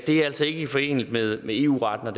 det er altså ikke foreneligt med eu retten og